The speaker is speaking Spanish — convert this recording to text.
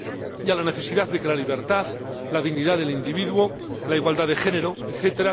y a la necesidad de que la libertad, la dignidad del individuo, la igualdad de género, etc.